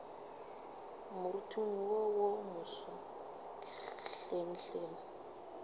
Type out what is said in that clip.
moriting wo wo moso hlenghleng